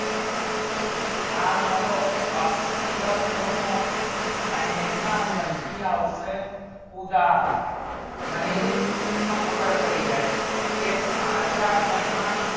આ મારું અક્ષીય ખૂણો અને એમાં પછી આવશે ઉદાહરણ મને એક મિનિટ માં ખબર પડી જાય કે સાંધા ઘણ માં